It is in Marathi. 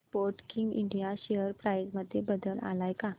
स्पोर्टकिंग इंडिया शेअर प्राइस मध्ये बदल आलाय का